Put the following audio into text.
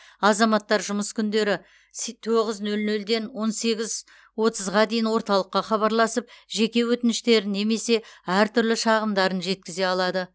азаматтар жұмыс күндері се тоғыз нөл нөлден он сегіз отызға дейін орталыққа хабарласып жеке өтініштерін немесе әртүрлі шағымдарын жеткізе алады